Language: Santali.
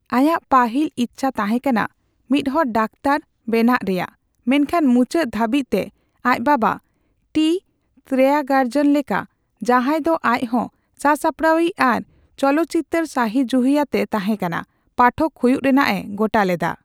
ᱟᱭᱟᱜ ᱯᱟᱹᱦᱤᱞ ᱤᱪᱪᱷᱟᱹ ᱛᱟᱦᱮᱸ ᱠᱟᱱᱟ ᱢᱤᱫᱦᱚᱲ ᱰᱟᱠᱛᱟᱨ ᱵᱮᱱᱟᱜ ᱨᱮᱭᱟᱜ, ᱢᱮᱱᱠᱷᱟᱱ ᱢᱩᱪᱟᱹᱫ ᱫᱷᱟᱹᱵᱤᱡᱛᱮ ᱟᱡ ᱵᱟᱵᱟ ᱴᱤ ᱛᱮᱭᱟᱜᱨᱟᱡᱚᱱ ᱞᱮᱠᱟ, ᱡᱟᱦᱟᱸᱭ ᱫᱚ ᱟᱡᱦᱚᱸ ᱥᱟᱥᱟᱯᱲᱟᱣᱤᱡ ᱟᱨ ᱪᱚᱞᱚᱛᱪᱤᱛᱟᱹᱨ ᱥᱟᱹᱦᱤᱡᱩᱦᱤᱭᱟᱱᱮ ᱛᱟᱸᱦᱮᱠᱟᱱᱟ, ᱯᱟᱴᱷᱚᱠ ᱦᱩᱭᱩᱜ ᱨᱮᱱᱟᱜ ᱮ ᱜᱚᱴᱟ ᱞᱮᱫᱟ ᱾